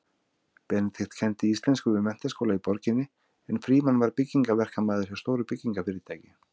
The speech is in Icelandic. Benedikt kenndi íslensku við menntaskóla í borginni en Frímann var byggingaverkamaður hjá stóru byggingarfyrirtæki.